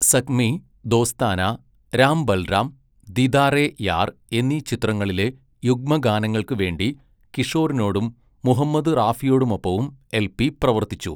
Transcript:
സഖ്മീ, ദോസ്താനാ, രാം ബൽറാം, ദീദാറെ യാർ എന്നീ ചിത്രങ്ങങ്ങളിലെ യുഗ്മഗാനങ്ങൾക്കുവേണ്ടി കിഷോറിനോടും മുഹമ്മദ് റാഫിയോടുമൊപ്പവും എൽ പി പ്രവർത്തിച്ചു.